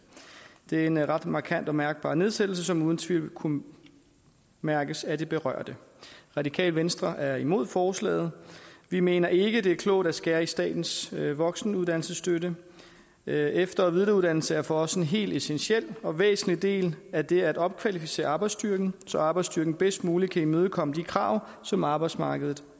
det er en ret markant og mærkbar nedsættelse som uden tvivl vil kunne mærkes af de berørte radikale venstre er imod forslaget vi mener ikke det er klogt at skære i statens voksenuddannelsesstøtte efter og videreuddannelse er for os en helt essentiel og væsentlig del af det at opkvalificere arbejdsstyrken så arbejdsstyrken bedst muligt kan imødekomme de krav som arbejdsmarkedet